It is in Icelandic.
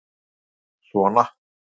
Maggi minn sona!